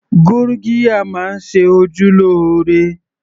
Gurgiya máa ń ṣe ojú lóore